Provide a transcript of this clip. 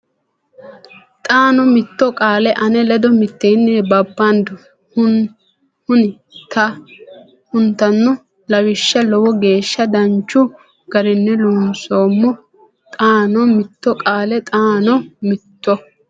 xaano mitto qaale ane ledo mitteenni babbando hun tanno Lawishsha Lowo geeshsha danchu garinni loonsoommo xaano mitto qaale xaano mitto.